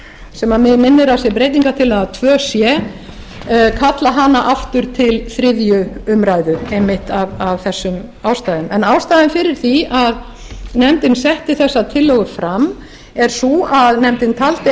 sem mig minnir að þessi breytingartillaga tveggja sé kalla hana aftur til þriðju umræðu einmitt af þessum ástæðum en ástæðan fyrir því að nefndin setti þessa tillögu fram er sú að nefndin taldi